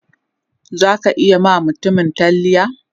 Zaka iya ma mutumin talliya?